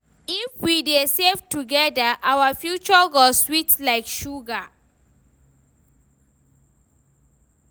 If we dey save together, our future go sweet like sugar.